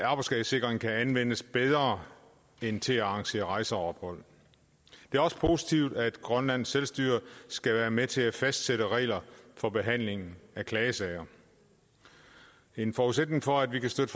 arbejdsskadesikring kan anvendes bedre end til at arrangere rejser og ophold det er også positivt at grønlands selvstyre skal være med til at fastsætte regler for behandlingen af klagesager en forudsætning for at vi kan støtte